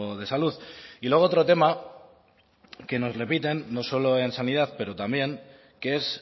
de salud y luego otro tema que nos repiten no solo en sanidad pero también que es